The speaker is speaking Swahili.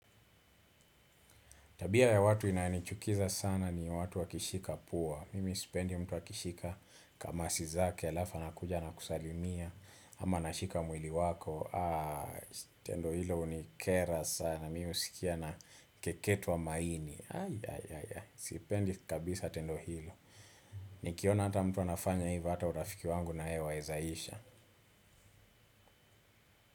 Tabia ya watu inayonichukiza sana ni watu wakishika pua. Mimi sipendi mtu wakishika kamasi zake alafu anakuja anakusalimia. Ama anashika mwili wako. Tendo hilo hunikera sana. Mimi husikia na keketwa maini. Sipendi kabisa tendo hilo. Nikiona ata mtu anafanya hivyo hata urafiki wangu na yeye wawezaisha.